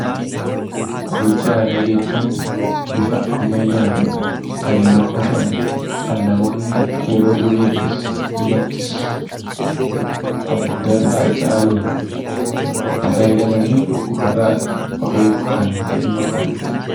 Qoricha aadaa jechuun bifa ammayyaan kan hin oomishamne kan namoonni yeroo duriittis ammattis abboota irraa dhaaluun itti fayyadamaniif dhukkubarraa of eeguuf kan itti dhiimma ba'anidha.